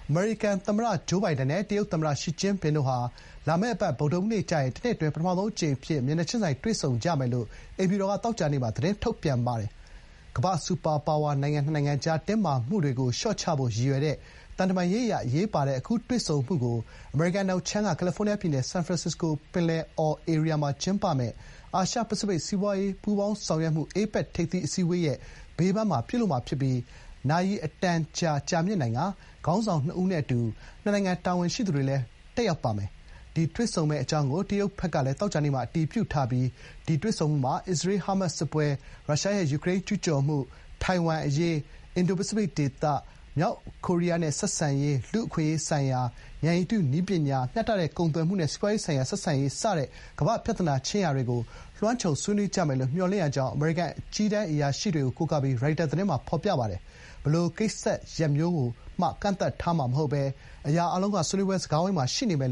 အမေရိကန်သမ္မတ ဂျိုးဘိုင်ဒန်နဲ့ တရုတ်သမ္မတ ရှီကျင့်ဖျင်တို့ဟာ လာမယ့်အပတ် ဗုဒ္ဓဟူးနေ့ကျရင် တနှစ်အတွင်း ပထမဆုံးအကြိမ် အဖြစ် မျက်နှာချင်းဆိုင် တွေ့ဆုံကြမယ်လို့ အိမ်ဖြူတော်က သောကြာနေ့မှာ သတင်းထုတ်ပြန်ပါတယ်။ ကမ္ဘာ့စူပါပါဝါနှစ်နိုင်ငံကြား တင်းမာမှုတွေကို လျှော့ချဖို့ ရည်ရွယ်တဲ့ သံတမန်ရေးအရ အရေးပါတဲ့ အခုတွေ့ဆုံမှုကို အမေရိကန် အနောက်ခြမ်းက ကယ်လီဖိုးနီးယားပြည်နယ် ဆန်ဖရန်စစ္စကိုပင်လယ်အော်ဧရိယာမှာ ကျင်းပမယ့် အာရှ-ပစိဖိတ်စီးပွားရေးပူးပေါင်းဆောင်ရွက်မှု (APEC) ထိပ်သီးအစည်းအဝေးရဲ့ ဘေးပန်းမှာ ပြုလုပ်မှာ ဖြစ်ပြီး နာရီအတန်ကြာ ကြာမြင့်နိင်ကာ ခေါင်းဆောင်နှစ်ဦးနဲ့ အတူ နှစ်နိုင်ငံ တာဝန်ရှိသူတွေလည်းပါဝင်ပါမယ်။ ဒီတွေ့ဆုံမှုမှာ အစ္စရေး-ဟားမတ်စ်စစ်ပွဲ၊ ရုရှားရဲ့ ယူကရိန်းကျူးကျော်မှု၊ ထိုင်ဝမ် အရေး၊ အင်ဒို-ပစိဖိတ်ဒေသ၊ မြောက်ကိုရီးယားနဲ့ ဆက်ဆံရေး၊ လူ့အခွင့်အရေး၊ ဉာဏ်ရည်တုနည်းပညာ၊ မျှတတဲ့ ကုန်သွယ်မှုနဲ့ စီးပွားရေးဆိုင်ရာ ဆက်ဆံရေး စတဲ့ ကမ္ဘာ့ ပြဿနာတွေကို လွှမ်းခြုံဆွေးနွေးကြမယ်လို့ မျှော်လင့်ရကြောင်း အမေရိကန် အကြီးတန်း အရာရှိတွေကို ကိုးကားပြီး ရိုက်တာသတင်းမှာ ဖော်ပြထားပါတယ်။ "ဘယ်လို ကိစ္စရပ်မျိုးကိုမှ ကန့်သတ်ထားမှာ မဟုတ်ဘဲ အရာအားလုံးက ဆွေးနွေးပွဲ စကားဝိုင်းမှာ ရှိနေတယ်"